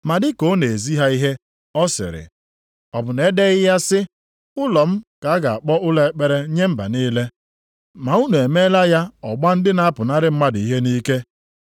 Ma dị ka ọ na-ezi ha ihe, ọ sịrị, “Ọ bụ na-edeghị ya sị, Ụlọ m ka a ga-akpọ ụlọ ekpere nye mba niile + 11:17 \+xt Aịz 56:7\+xt* ? Ma unu emeela ya ọgba ndị na-apụnara mmadụ ihe nʼike. + 11:17 \+xt Jer 7:11\+xt* ”